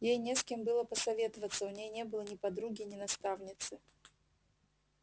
ей не с кем было посоветоваться у ней не было ни подруги ни наставницы